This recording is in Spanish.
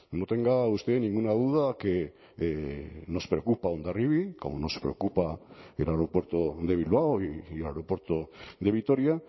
no tenga usted ninguna duda que nos preocupa hondarribia como nos preocupa el aeropuerto de bilbao y el aeropuerto de vitoria